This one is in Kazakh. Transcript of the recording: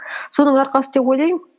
соның арқасы деп ойлаймын